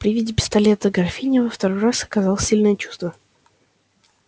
при виде пистолета графиня во второй раз оказала сильное чувство